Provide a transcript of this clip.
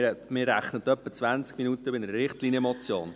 Man rechnet etwa mit 20 Minuten für eine Richtlinienmotion.